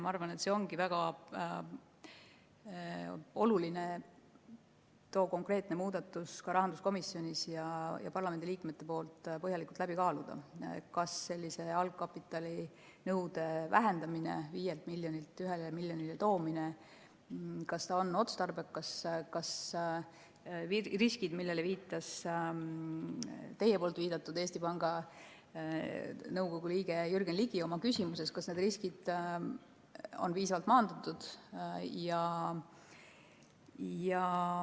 Ma arvan, et ongi väga oluline too konkreetne muudatus ka rahanduskomisjonis ja parlamendiliikmete hulgas põhjalikult läbi kaaluda, et kas algkapitalinõude vähendamine 5 miljonilt 1 miljonile on otstarbekas ning kas need riskid, millele viitas oma küsimuses Eesti Panga Nõukogu liige Jürgen Ligi, on piisavalt maandatud.